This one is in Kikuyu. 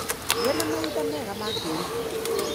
Gĩa na mahinda mega ma kwĩruta.